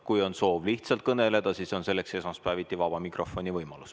Kui on soov lihtsalt kõneleda, siis selleks on esmaspäeviti vaba mikrofoni võimalus.